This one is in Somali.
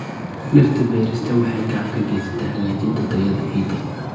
Dhirta beerista waxay gacan ka geysataa hagaajinta tayada ciidda.